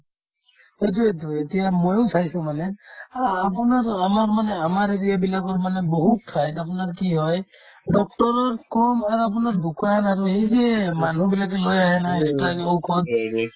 সেইটোয়েতো এতিয়া ময়ো চাইছো মানে আ আপোনাৰ আমাৰ area বিলাকৰ মানে বহুত খাই আপোনাৰ কি হয় doctor ৰতকৈয়ো মানে আপোনাৰ দোকান আৰু সেই যে মানুহ বিলাকে লৈ আহে না expire ই ঔষধ